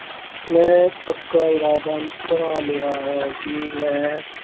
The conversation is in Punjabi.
ਮੈਂ ਪੱਕਾ ਇਰਾਦਾ ਬਣਾ ਲਿਆ ਹੈ ਕਿ ਮੈਂ